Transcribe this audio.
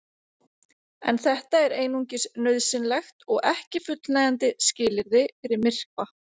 En þetta er einungis nauðsynlegt og ekki fullnægjandi skilyrði fyrir myrkva.